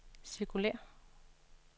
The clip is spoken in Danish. cirkulér